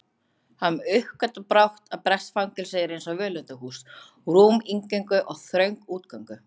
Hann uppgötvar brátt að bresk fangelsi eru einsog völundarhús, rúm inngöngu en þröng útgöngu